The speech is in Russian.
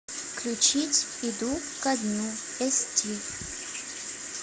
включить иду ко дну эсти